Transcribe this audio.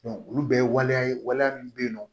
olu bɛɛ ye waleya ye waleya min bɛ yen nɔ